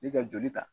Ni ka joli ta